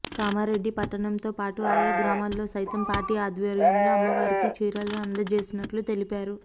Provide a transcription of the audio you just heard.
కామారెడ్డి పట్టణంతో పాటు ఆయా గ్రామల్లో సైతం పార్టీ ఆధ్వర్యంలో అమ్మవారికి చీరలను అందచేసినట్లు తెలిపారు